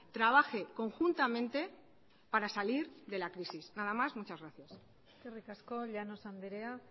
trabaje conjuntamente para salir de la crisis nada más muchas gracias eskerrik asko llanos andrea